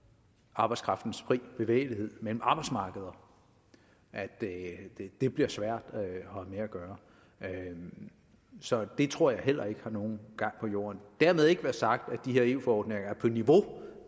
arbejdskraftens frie bevægelighed mellem arbejdsmarkeder at det bliver svært at have med at gøre så det tror jeg heller ikke har nogen gang på jorden dermed ikke være sagt at de her eu forordninger er på niveau